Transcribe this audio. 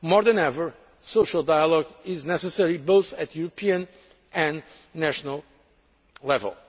partners. More than ever, social dialogue is necessary both at European and at national